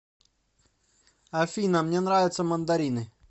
афина мне нравятся мандарины